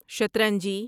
شترنجی